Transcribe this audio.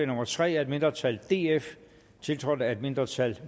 nummer tre af et mindretal tiltrådt af et mindretal